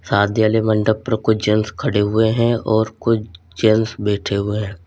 शादी आले मंडप पर कुछ जेंट्स खड़े हुए हैं और कुछ जेंट्स बैठे हुए हैं।